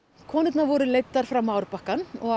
konurnar voru leiddar fram á árbakkann og